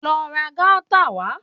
Lọ ra Gauta wà